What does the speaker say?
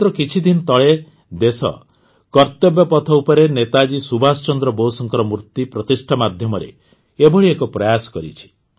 ମାତ୍ର କିଛି ଦିନ ତଳେ ଦେଶ କର୍ତ୍ତବ୍ୟପଥ ଉପରେ ନେତାଜୀ ସୁବାସ ଚନ୍ଦ୍ର ବୋଷଙ୍କ ମୁର୍ତ୍ତୀ ପ୍ରତିଷ୍ଠା ମାଧ୍ୟମରେ ଏଭଳି ଏକ ପ୍ରୟାସ କରିଛି